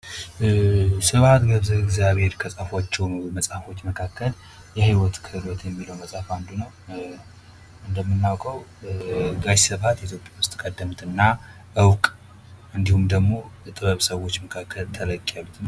ስብሃት ገብረ እግዚአብሄር ከጻፏቸው መጽሐፎች መካከል የህይወት ክህሎት የሚለው መጽሀፍ አንዱ ነው ። እንደምናውቀው ጋሽ ስብሃት ኢትዮጵያ ውስጥ ቀደምት እና እውቅ እንዲሁም ደግሞ ከጥበብ ሰዎች መካከል ተለቅ ያሉ ።